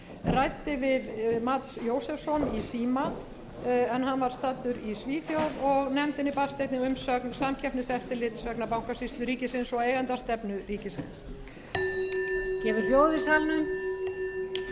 ræddi við mats josefsson í síma en hann var staddur í svíþjóð nefndinni barst einnig umsögn samkeppniseftirlits vegna bankasýslu ríkisins og eigendastefnu ríkisins gefið hljóð í salnum